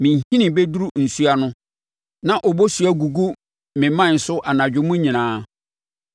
Me nhini bɛduru nsuo ano, na obosuo agugu me mman so anadwo mu nyinaa.